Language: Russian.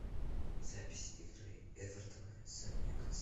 запись игры эвертона с ньюкасл